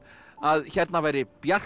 að hérna væri bjart